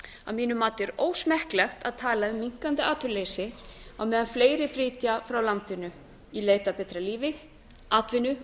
að mínu mati er ósmekklegt að tala um minnkandi atvinnuleysi á meðan fleiri flytja frá landinu í leit að betra lífi atvinnu